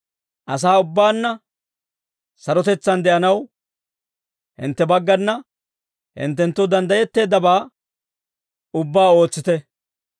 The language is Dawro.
Asaa ubbaanna sarotetsaan de'anaw, hintte baggana, hinttenttoo danddayetteeddabaa ubbaa ootsite.